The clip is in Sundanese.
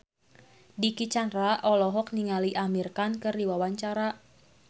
Dicky Chandra olohok ningali Amir Khan keur diwawancara